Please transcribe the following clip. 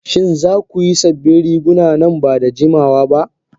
Shin za ku yi sabbin riguna nan ba da jimawa ba?